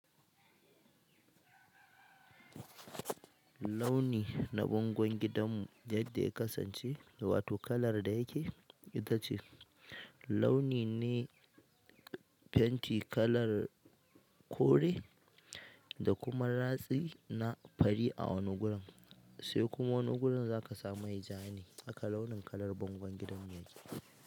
Launi na bangon gidanmu yadda ya kasance, da wato kalar da yake ita ce launi ne. Fenti kalar kore da kuma ratsi na fari a wani gurin, sai kuma wani gurin za kamai jane a kalaunin kalar bangon gidanmu yanzu.